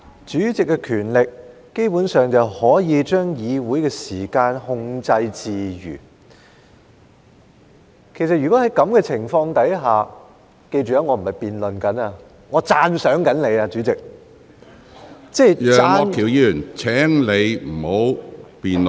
主席基本上有權力可以將議會的時間控制自如，其實如果在這種情況下——記着，我並非在辯論，我是在讚賞你，主席，即讚......